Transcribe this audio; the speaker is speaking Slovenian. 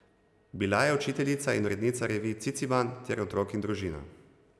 Bila je učiteljica in urednica revij Ciciban ter Otrok in družina.